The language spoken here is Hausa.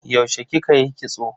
Yaushe kika yi kitso?